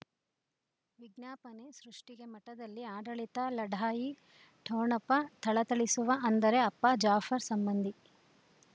ವಿಜ್ಞಾಪನೆ ಸೃಷ್ಟಿಗೆ ಮಠದಲ್ಲಿ ಆಡಳಿತ ಲಢಾಯಿ ಠೊಣಪ ಥಳಥಳಿಸುವ ಅಂದರೆ ಅಪ್ಪ ಜಾಫರ್ ಸಂಬಂಧಿ